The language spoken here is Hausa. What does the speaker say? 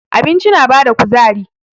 Abinci na bada kuzari.